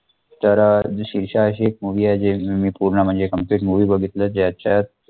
तर अं शेरशाह अशी एक movie आहे. जे मी पूर्ण म्हणजे complete movie बघितली ज्याच्यात